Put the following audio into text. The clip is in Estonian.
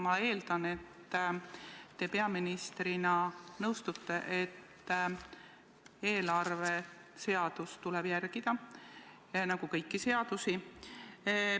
Ma eeldan, et te peaministrina nõustute, et eelarveseadust tuleb järgida nagu kõiki seadusi.